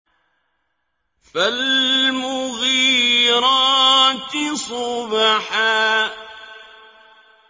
فَالْمُغِيرَاتِ صُبْحًا